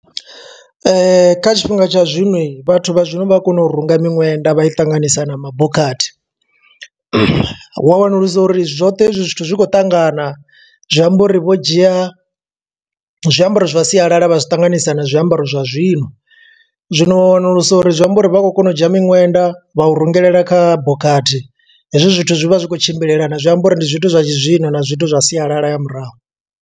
Kha tshifhinga tsha zwino, vhathu vha zwino vha a kona u runga miṅwenda vha i ṱanganisa na mabokhathi. Wa wanulusa uri zwoṱhe hezwi zwithu zwi khou ṱangana, zwi amba uri vho dzhia zwiambaro zwa sialala vha zwiṱanganyisa na zwiambaro zwa zwino. Zwino wa wanulusa uri zwi amba uri, vha khou kona u dzhia miṅwenda vha u rungelela kha bokhathi. Hezwi zwithu zwi vha zwi khou tshimbilelana, zwi amba uri ndi zwithu zwa tshizwino na zwithu zwa sialala ya murahu.